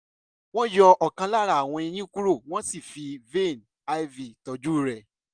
wọ́n yọ ọkàn lára àwọn eyín kúrò wọ́n sì fi vein iv tọ́jú rẹ̀